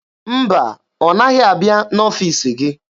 Mba, ọ naghị abịa n'ọfiisi gị.